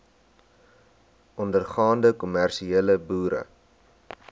ondergaande kommersiële boere